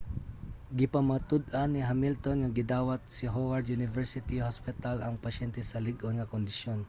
gipamatud-an ni hamilton nga gidawat sa howard university hospital ang mga pasyente sa lig-on nga kondisyon